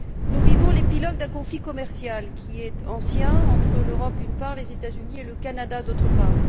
Nous vivons l'épilogue d'un conflit commercial qui est ancien entre l'Europe, d'une part, les États Unis et le Canada, d'autre part.